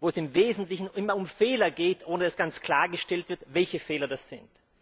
bei der es im Wesentlichen immer um Fehler geht, ohne dass ganz klargestellt wird, welche Fehler das sind.